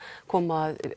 koma að